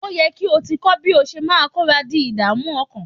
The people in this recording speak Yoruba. Ó ye kí o ti kọ́ bí o ṣe máa kọra di ìdààmú ọkàn.